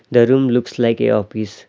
The room looks like a office .